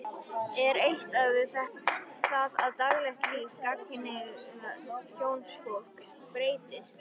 Er átt við það að daglegt líf gagnkynhneigðs hjónafólks breytist?